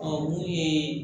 Ɔ olu ye